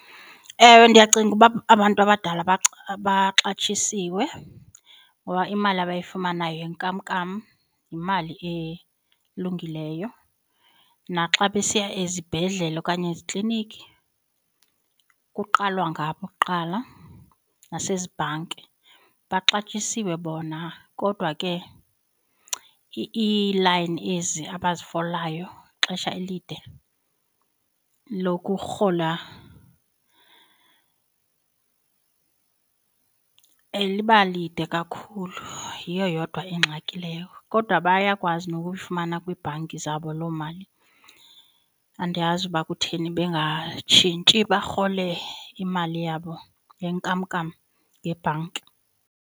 Ewe, ndiyacinga uba abantu abadala baxatyisiwe ngoba imali abayifumanayo yenkamnkam yimali elungileyo, naxa besiya ezibhedlele okanye ezikliniki kuqalwa ngabo kuqala nasezibhanki baxatyisiwe bona kodwa ke iilayini ezi abazifolayo ixesha elide lokurhola liba lide kakhulu. Yiyo yodwa ingxaki leyo kodwa bayakwazi nokuyifumana kwiibhanki zabo loo mali, andiyazi uba kutheni bangatshintshi barhole imali yabo yenkamnkam ngebhanki.